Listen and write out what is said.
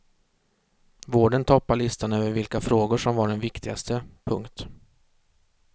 Vården toppar listan över vilka frågor som var de viktigaste. punkt